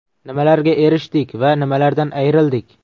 Nimalarga erishdik va nimalardan ayrildik?